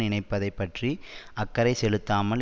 இணைப்பதைப் பற்றி அக்கறை செலுத்தாமல்